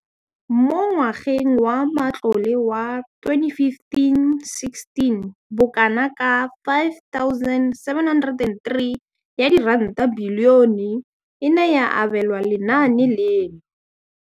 Mo ngwageng wa matlole wa 2015,16, bokanaka R5 703 bilione e ne ya abelwa lenaane leno.